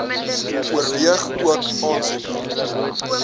oorweeg ook aansoeke